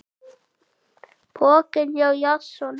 Pokinn hjá Jason